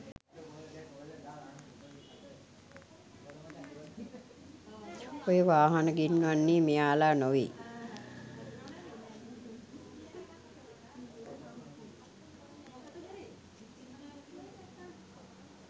ඔය වාහන ගෙන්වන්නේ මෙයාලා නොවෙයි